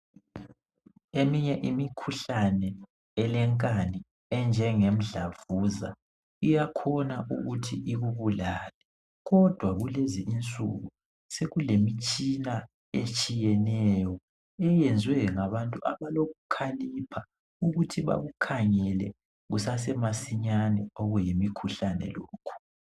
Eminye imikhuhlane elenkani enjenge mdlavuza iyakhona ukuthi ikubulale kodwa kulezinsuku sekule mitshina etshiyeneyo eyenziwe ngabantu abakokukhalipha ukuthi bakukhangele kusase masinyane okuyimikhuhlane lokhu.